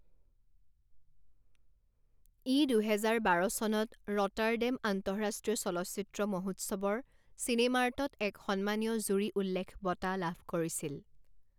ই দুহেজাৰ বাৰ চনত ৰটাৰডেম আন্তঃৰাষ্ট্ৰীয় চলচ্চিত্ৰ মহোৎসৱৰ চিনেমাৰ্টত এক সন্মানীয় জুৰি উল্লেখ বঁটা লাভ কৰিছিল।